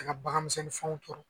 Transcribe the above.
An ka baganmisɛnninfɛnw tora